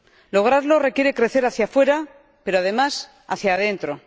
Lograrlo requiere crecer hacia fuera, pero, además, hacia adentro.